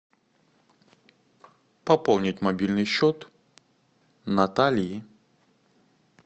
пополнить мобильный счет натальи